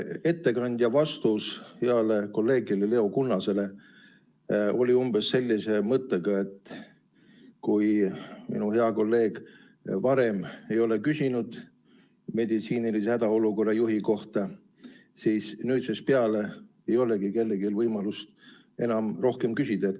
Ettekandja vastus heale kolleegile Leo Kunnasele oli umbes sellise mõttega, et kuna minu hea kolleeg varem ei ole meditsiinilise hädaolukorra juhi kohta küsinud, siis nüüdsest peale ei ole enam kellelgi võimalust rohkem selle kohta küsida.